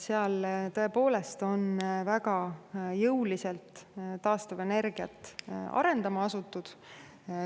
Seal on tõepoolest väga jõuliselt taastuvenergiat arendama asutud.